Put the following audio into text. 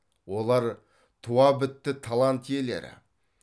олар туабітті талант иелері